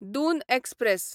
Doon express